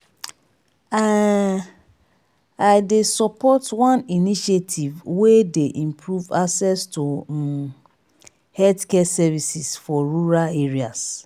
um i dey support one initiative wey dey improve access to um healthcare services for rural areas